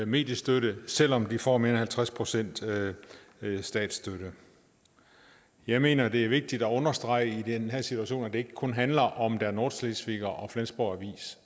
mediestøtte selv om de får mere end halvtreds procent statsstøtte jeg mener det er vigtigt at understrege i den her situation at det ikke kun handler om der nordschleswiger og flensborg avis